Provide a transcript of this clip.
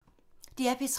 DR P3